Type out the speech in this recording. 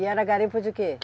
E era garimpo de quê?